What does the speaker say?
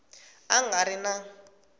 a a nga ri na